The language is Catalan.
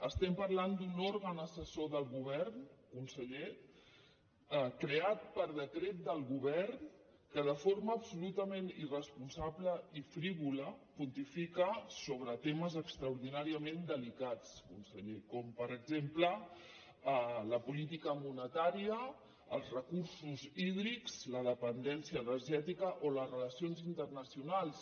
estem parlant d’un òrgan assessor del govern conseller creat per decret del govern que de forma absolutament irresponsable i frívola pontifica sobre temes extraordinàriament delicats conseller com per exemple la política monetària els recursos hídrics la dependència energètica o les relacions internacionals